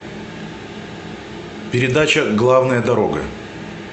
передача главная дорога